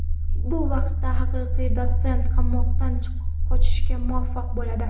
Bu vaqtda haqiqiy Dotsent qamoqdan qochishga muvaffaq bo‘ladi.